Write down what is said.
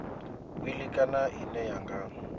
wili kana ine ya nga